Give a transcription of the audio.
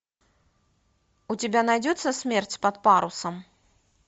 у тебя найдется смерть под парусом